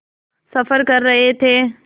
सफ़र कर रहे थे